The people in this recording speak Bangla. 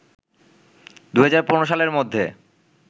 ২০১৫ সালের মধ্যে